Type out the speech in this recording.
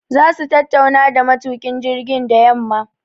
Za su tattauna da matukin jirgin da yamma